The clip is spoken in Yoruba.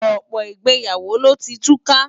Ọ̀pọ̀ ìgbéyàwó ló ti túká.